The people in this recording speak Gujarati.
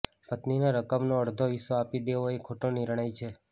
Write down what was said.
પત્નીને રકમનો અડધો હિસ્સો આપી દેવો એ ખોટો નિર્ણય છે